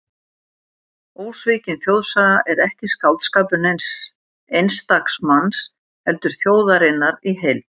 Ósvikin þjóðsaga er ekki skáldskapur neins einstaks manns, heldur þjóðarinnar í heild.